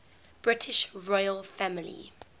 british royal family